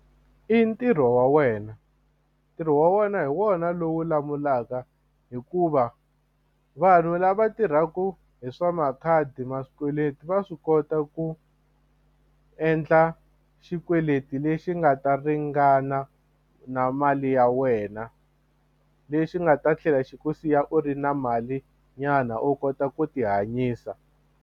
I ntirho wa wena ntirho wa wena hi wona lowu lawulaka hikuva vanhu lava tirhaka hi swa makhadi va swikweleti va swi kota ku endla xikweleti lexi nga ta ringana na mali ya wena lexi nga ta tlhela xi ku siya u ri na mali nyana u kota ku ti hanyisa.